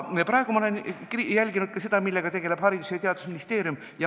Praegu olen ma jälginud ka seda, millega tegeleb Haridus- ja Teadusministeerium.